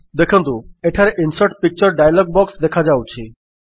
ଦେଖନ୍ତୁ ଏଠାରେ insert picture dialogue box ଦେଖାଦେଉଛି